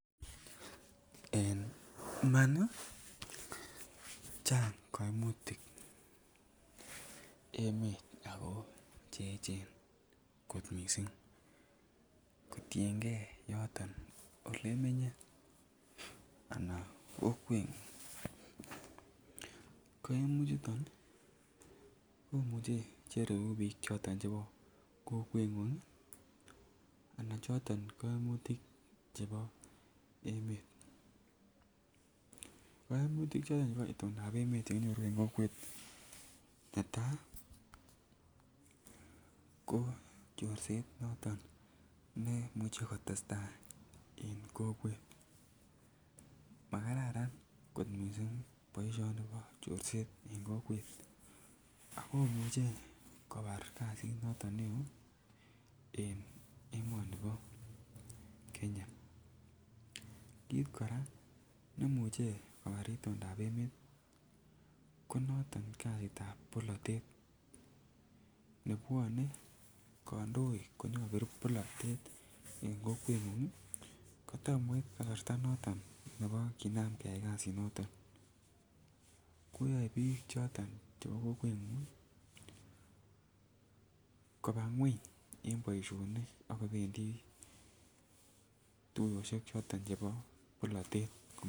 En iman ii Chang koimutik emet ako Cheechen kot missing kotiengee yoton ole menye ana kokwengung. Koimutik chuton ii komuche che reu biik choton chebo kokwengung ana choton koimutik chebo emet, koimutik choton che itondap emet chekinyoru en kokwet netaa ko chorset noton ne imuche kotestai en kokwet makararan kot missing boisioni bo chorset en kokwet ako muche kobar kazit noton ne oo en emoni bo Kenya. Kit koraa nemuche kobar itondap emet ko noton kazitab polotet nebwone kondoik konyo kobir polotet en kokwengung ii ko tomo koit kasarta noton nebo kinam keyay kazit noton koyoe biik choton chebo kokwengung ii kobaa ngweny en boisionik ak kobendii tuyoshek choton chebo polotet